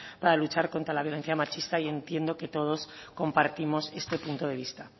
para luchar contra la violencia machista y entiendo que todos compartimos este punto de vista